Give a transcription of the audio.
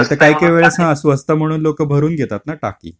नाही तर काही काही वेळेस हां स्वस्त म्हणून लोकं भरून घेतात ना टाकी.